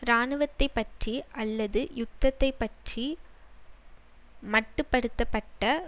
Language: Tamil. இராணுவத்தை பற்றி அல்லது யுத்தத்தை பற்றி மட்டு படுத்த பட்ட